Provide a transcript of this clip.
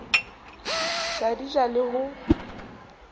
sa di ja le ho